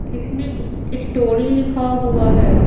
जिसमें स्टोरी लिखा हुआ है।